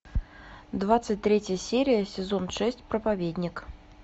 двадцать третья серия сезон шесть проповедник